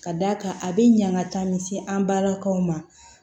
Ka d'a kan a bɛ ɲaga taa min se an balakaw ma